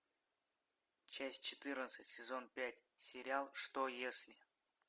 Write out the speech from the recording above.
часть четырнадцать сезон пять сериал что если